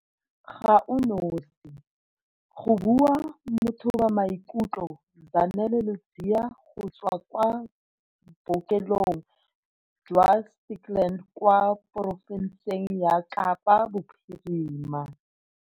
Ga o nosi, go bua mothobamaikutlo Zanele Ludziya go tswa kwa Bookelong jwa Stikland kwa porofenseng ya Kapa Bophirima.